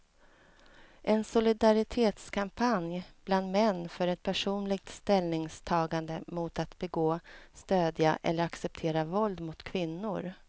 En solidaritetskampanj bland män för ett personligt ställningstagande mot att begå, stödja eller acceptera våld mot kvinnor.